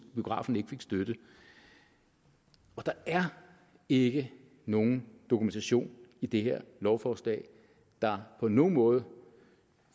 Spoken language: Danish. biografen ikke fik støtte der er ikke nogen dokumentation i det her lovforslag der på nogen måde